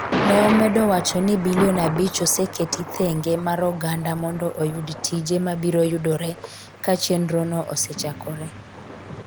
ne omedo wacho ni bilion abich oseketi thenge mar oganda mondo oyud tije mabiro yudore ka chenrono osechakore